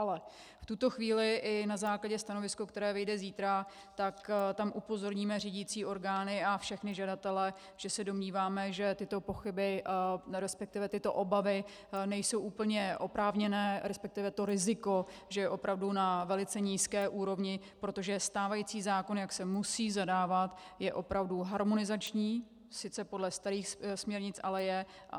Ale v tuto chvíli i na základě stanoviska, které vyjde zítra, tak tam upozorníme řídicí orgány a všechny žadatele, že se domníváme, že tyto pochyby, respektive tyto obavy nejsou úplně oprávněné, respektive to riziko že je opravdu na velice nízké úrovni, protože stávající zákon, jak se musí zadávat, je opravdu harmonizační, sice podle starých směrnic, ale je.